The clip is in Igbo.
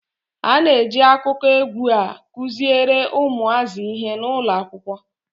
A na-eji akụkọ egwu a kuziri ụmụazị ihe n'ụlọ akwụkwọ.